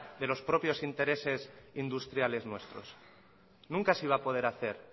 de los propios intereses industriales nuestros nunca se iba a poder hacer